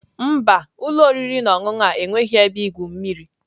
Mba, ụlọ oriri na ọṅụṅụ a enweghị ebe igwu mmiri.